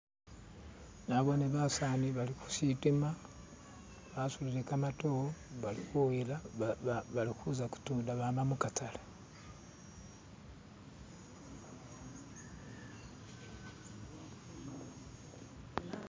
Naboone basani bali khusitima basutile kamatore bari kuza kutunda abama mukatale.